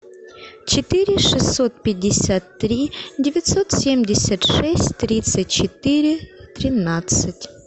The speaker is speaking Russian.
четыре шестьсот пятьдесят три девятьсот семьдесят шесть тридцать четыре тринадцать